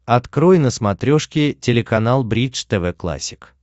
открой на смотрешке телеканал бридж тв классик